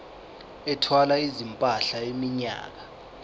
ethwala izimpahla iminyaka